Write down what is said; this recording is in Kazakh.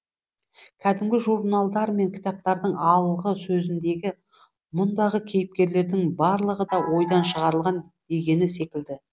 кәдімгі журналдар мен кітаптардың алғы сөзіндегі мұндағы кейіпкерлердің барлығы да ойдан шығарылған дегені секілді